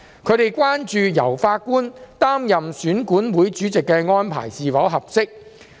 他們關注由法官擔任選管會主席的安排是否合適。